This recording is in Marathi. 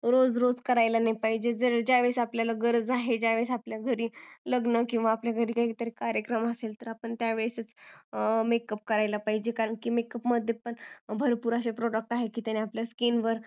रोज रोज करायला नाही पाहिजेल ज्यावेळेस आपल्याला गरज आहे ज्यावेळेस आपल्या घरी लग्न आहे किंवा कार्यक्रम असेल तर त्यावेळेस आपण makeup करायला पाहिजे कारण makeup मध्ये पण असे भरपूर product आहेत की ज्यामुळे आपल्या skin वर